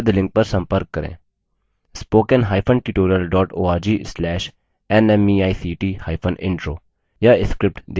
* spoken hyphen tutorial dot org slash nmeict hyphen intro